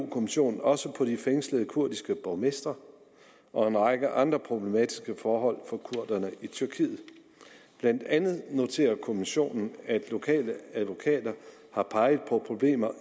kommissionen også på de fængslede kurdiske borgmestre og en række andre problematiske forhold for kurderne i tyrkiet blandt andet noterer kommissionen at lokale advokater har peget på problemer